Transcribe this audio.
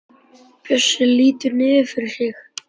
Bjössi lítur niður fyrir sig.